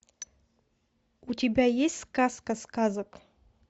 у тебя есть сказка сказок